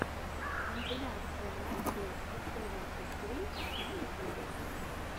компиляция найтблэйд севенти ссри на ютубе